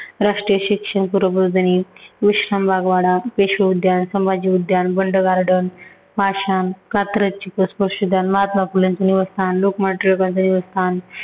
राष्ट्रीय शिक्षण , विश्रामबाग वाडा, पेशवे उद्यान, संभाजी उद्यान, बंड garden, पाषाण, कात्रज , महात्मा फुलेंच निवासस्थान, लोकमान्य टिळकांचं निवासस्थान